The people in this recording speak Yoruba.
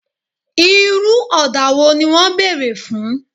Irú ọ̀dà wo ni wọn béèrè fún?